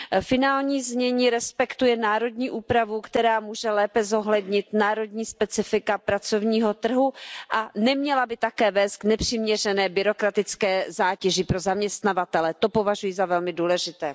Finální znění respektuje národní úpravu, která může lépe zohlednit národní specifika pracovního trhu, a neměla by také vést k nepřiměřené byrokratické zátěži pro zaměstnavatele, to považuji za velmi důležité.